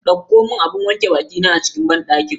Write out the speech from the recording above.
Dauko mun abun wanke bakina a cikin banɗaki.